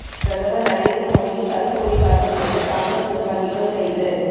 பிரதமர் நரேந்திர மோடிக்கு கருப்புக்கொடி காட்ட முயன்ற காங்கிரஸ் நிர்வாகிகள் கைது